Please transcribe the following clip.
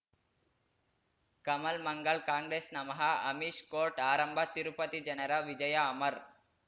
Kamal Mangal Congress ನಮಃ Amish court ಆರಂಭ ತಿರುಪತಿ ಜನರ ವಿಜಯ ಅಮರ್